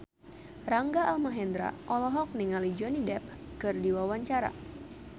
Rangga Almahendra olohok ningali Johnny Depp keur diwawancara